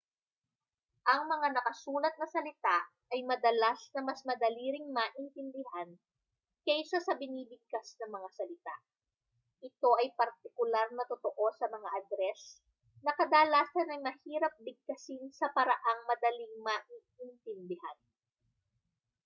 ang mga nakasulat na salita ay madalas na mas madali ring maintindihan kaysa sa binibigkas na mga salita ito ay partikular na totoo sa mga adres na kadalasan ay mahirap bigkasin sa paraang madaling maiintindihan